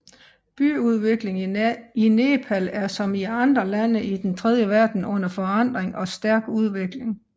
Byudviklingen i Nepal er som i andre lande i den tredje verden under forandring og stærk udvikling